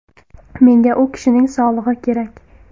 Menga u kishining sog‘lig‘i kerak.